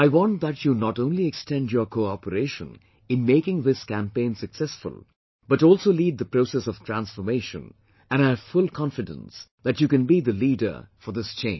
I want that you not only extend your cooperation in making this campaign successful but also lead the process of transformation and I have full confidence that you can be the leader for this change